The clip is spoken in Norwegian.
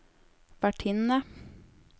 vertinne